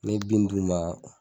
Ni ye bin d'u ma.